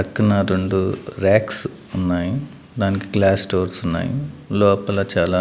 పక్కనా రెండు ర్యాక్స్ ఉన్నాయి దానికి గ్లాస్ డోర్స్ ఉన్నాయి లోపల చాలా--